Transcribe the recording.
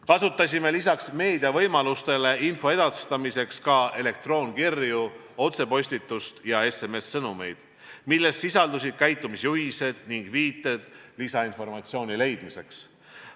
Kasutasime lisaks meedia võimalustele info edastamiseks elektronkirju, otsepostitust ja SMS-sõnumeid, milles sisaldusid käitumisjuhised ning viited lisainformatsiooni leidmiseks.